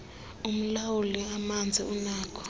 umlawuli amanzi unakho